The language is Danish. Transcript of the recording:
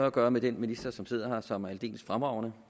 at gøre med den minister som sidder her og som er aldeles fremragende